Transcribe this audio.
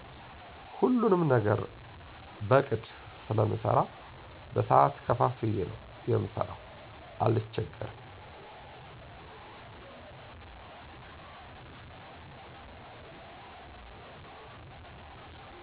ሁሉንም ነገር በቅድ ስለምሰራ በሰዓት ከፋፍየ ነው የምሰራው አልቸገርም።